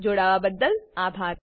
જોડાવા બદલ આભાર